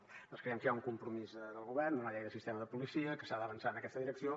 nosaltres creiem que hi ha un compromís del govern una llei del sistema de policia i que s’ha d’avançar en aquesta direcció